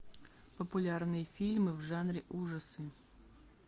популярные фильмы в жанре ужасы